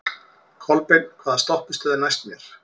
Kolbeinn, hvaða stoppistöð er næst mér?